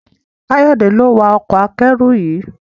Kayode lo wá Ọkọ̀ akẹ́rù yí.